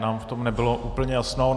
Nám v tom nebylo úplně jasno.